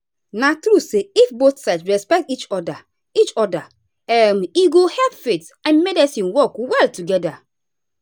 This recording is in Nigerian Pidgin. na true say if both sides respect each other each other um e go help faith and medicine work well together.